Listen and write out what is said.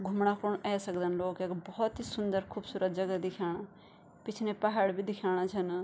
घुमणा खुण ए सकदन लोग यख भोत ही सुन्दर खुबसूरत जगह दिखेणा पिछने पहाड़ भी दिख्येणा छन।